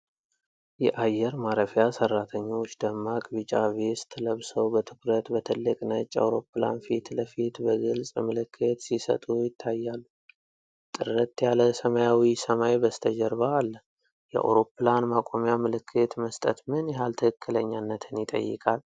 የአየር ማረፊያ ሰራተኞች ደማቅ ቢጫ ቬስት ለብሰው በትኩረት በትልቅ ነጭ አውሮፕላን ፊት ለፊት በግልጽ ምልክት ሲሰጡ ይታያሉ። ጥርት ያለ ሰማያዊ ሰማይ በስተጀርባ አለ። የአውሮፕላን ማቆሚያ ምልክት መስጠት ምን ያህል ትክክለኛነትን ይጠይቃል?